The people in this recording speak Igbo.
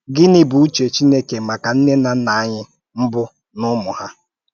Gịnị̀ bụ ùchè Chìnékè maka nnè na nnà ànyị mbụ̀ na ụmụ ha?